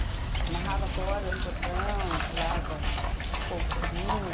Amarrava corda no portão, pulava fogo, foguinho.